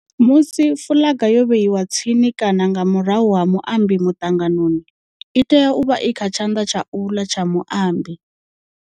Musi fuḽaga yo vheiwa tsini kana nga murahu ha muambi muṱanganoni, i tea u vha i kha tshanḓa tsha uḽa tsha muambi.